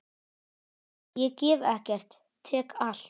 Ég gef ekkert, tek allt.